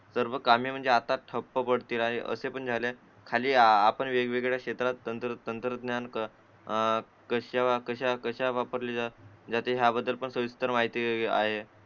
सर्व कामे म्हणजे आत्ता ठप्प पडतील असे पण झाले आहेत खाली आपण वेगवेगळ्या क्षेत्रात तंत्र तंत्रज्ञान अं कशा कशा प्रकारे वापरले जाते याबद्दल सविस्तर माहिती आहे